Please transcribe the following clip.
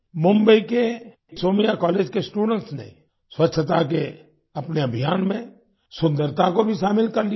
मुंबई के सोमैया कॉलेज के स्टूडेंट्स ने स्वछता के अपने अभियान में सुन्दरता को भी शामिल कर लिया है